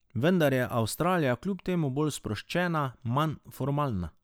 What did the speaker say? Vendar je Avstralija kljub temu bolj sproščena, manj formalna.